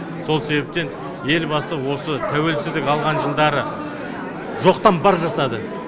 сол себептен елбасы осы тәуелсіздік алған жылдары жоқтан бар жасады